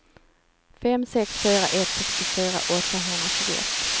fem sex fyra ett sextiofyra åttahundratjugoett